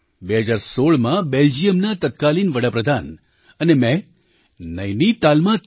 2016માં બેલ્જિયમના તત્કાલીન વડા પ્રધાન અને મેં નૈનીતાલમાં 3